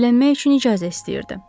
Evlənmək üçün icazə istəyirdi.